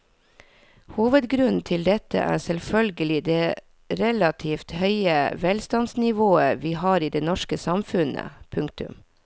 Hovedgrunnen til dette er selvfølgelig det relativt høye velstandsnivå vi har i det norske samfunn. punktum